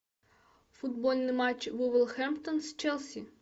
футбольный матч вулверхэмптон с челси